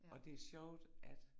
Ja